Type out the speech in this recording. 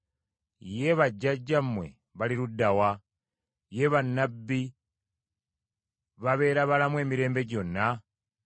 Ye bajjajjammwe bali ludda wa? Ye bannabbi babeera balamu emirembe gyonna?